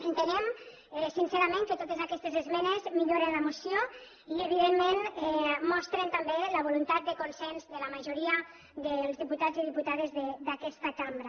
entenem sincerament que totes aquestes esmenes milloren la moció i evidentment mostren també la voluntat de consens de la majoria dels diputats i diputades d’aquesta cambra